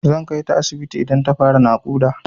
Zan kaita asibiti idan ta fara naƙuda.